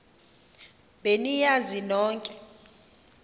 be niyazi nonk